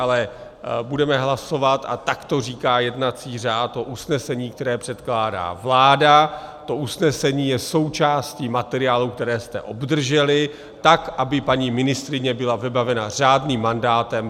Ale budeme hlasovat, a tak to říká jednací řád, o usnesení, které předkládá vláda, to usnesení je součástí materiálů, které jste obdrželi, tak aby paní ministryně byla vybavena řádným mandátem.